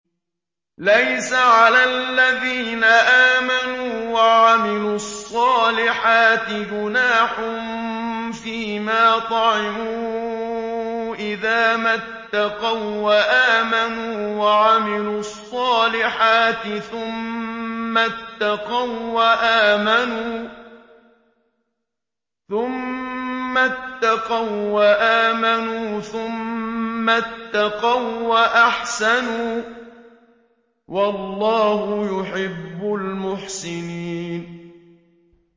لَيْسَ عَلَى الَّذِينَ آمَنُوا وَعَمِلُوا الصَّالِحَاتِ جُنَاحٌ فِيمَا طَعِمُوا إِذَا مَا اتَّقَوا وَّآمَنُوا وَعَمِلُوا الصَّالِحَاتِ ثُمَّ اتَّقَوا وَّآمَنُوا ثُمَّ اتَّقَوا وَّأَحْسَنُوا ۗ وَاللَّهُ يُحِبُّ الْمُحْسِنِينَ